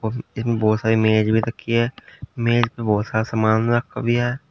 बहोत सारी मेज भी रखी है मेज पर बहोत सारा सामान रखा भी हैं।